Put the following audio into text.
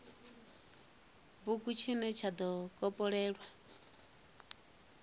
bugu tshine tsha do kopololwa